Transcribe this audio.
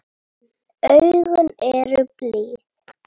En augun eru blíð.